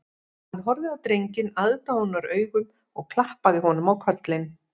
Hann horfði á drenginn aðdáunaraugum og klappaði honum á kollinn